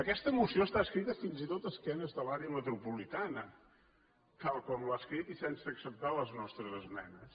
aquesta moció està escrita fins i tot a esquena de l’àrea metropolitana tal com l’ha escrit i sense acceptar les nostres esmenes